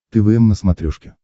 твм на смотрешке